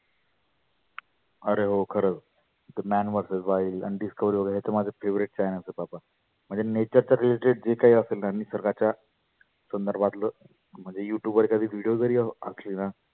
आरे हो खरच ते man verses wild आन Discovery वगैरे हे तर माझे fevoriet channels आहे बाबा. म्हणजे Nature च्या related जे काही असेल ना निसर्गाच्या तर सर्वातल म्हणजे Youtube वर कधी video जरी आसले ना